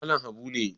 Malam Habu ne